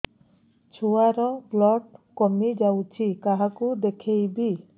ଛୁଆ ର ବ୍ଲଡ଼ କମି ଯାଉଛି କାହାକୁ ଦେଖେଇବି